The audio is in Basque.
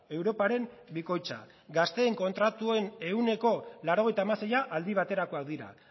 europaren bikoitza gazteen kontratuen ehuneko laurogeita hamaseia aldi baterakoak dira